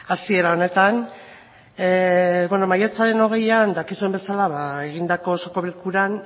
hasiera honetan maiatzaren hogeian dakizuen bezala egindako osoko bilkuran